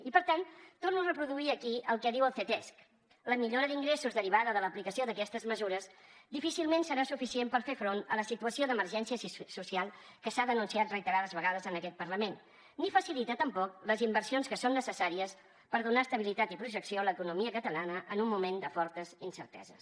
i per tant torno a reproduir aquí el que diu el ctesc la millora d’ingressos derivada de l’aplicació d’aquestes mesures difícilment serà suficient per fer front a la situació d’emergència social que s’ha denunciat reiterades vegades en aquest parlament ni facilita tampoc les inversions que són necessàries per donar estabilitat i projecció a l’economia catalana en un moment de fortes incerteses